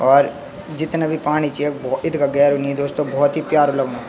और जितना भी पाणी च यख भो इतगा गेरू नी दोस्तों बहौत ही प्यारु लगणु।